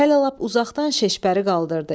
Hələ lap uzaqdan şeşpəri qaldırdı.